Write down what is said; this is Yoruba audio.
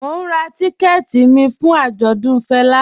Mò n rá tìkẹ̀tì mi fún ạjọdùn Fẹla